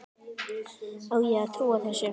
Á ég að trúa þessu?